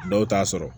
Dɔw t'a sɔrɔ